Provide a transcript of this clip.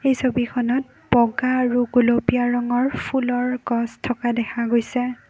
এই ছবিখনত বগা আৰু গোলপীয়া ৰঙৰ ফুলৰ গছ থকা দেখা গৈছে।